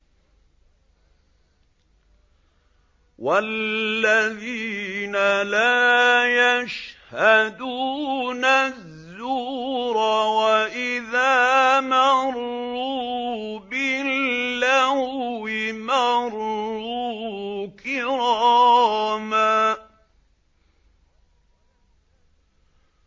وَالَّذِينَ لَا يَشْهَدُونَ الزُّورَ وَإِذَا مَرُّوا بِاللَّغْوِ مَرُّوا كِرَامًا